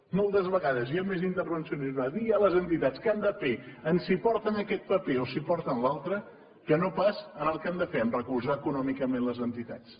moltes vegades hi ha més intervencionisme via les entitats què han de fer en si porten aquest paper o si porten l’altre que no pas en el que han de fer recolzar econòmicament les entitats